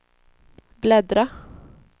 bläddra